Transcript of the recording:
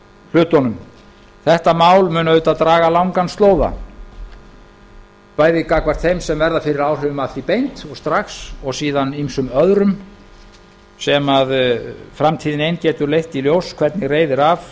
hlutunum þetta mál mun auðvitað draga langan slóða bæði gagnvart þeim sem verða fyrir áhrifum af því beint og strax og síðan ýmsum öðrum sem framtíðin ein getur leitt í ljós hvernig reiðir af